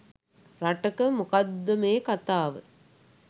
රටක මොකක්ද මේ කතාව.